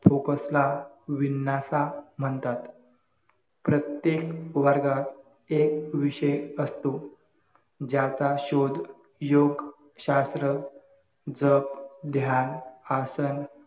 FOCUS ला विन्नसा प्रत्येक वर्गात एक विषय असतो. ज्याचा शोध योग शास्त्र जप ध्यान आसन